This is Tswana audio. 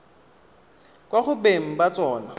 kwa go beng ba tsona